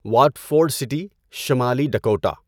Watford city, شمالی Dakota